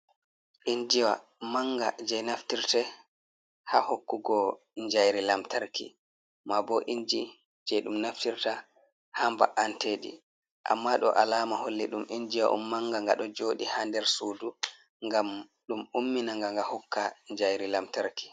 Injiyawa manga je naftirte ha hokkugo jayri lamtarki, ma bo inji je ɗum naftirta ha mba’antedi amma ɗo alama holli ɗum injiwa on manga nga ɗo joɗi ha nder sudu ngam ɗum ummina ga, nga hokka jayri lamtarki.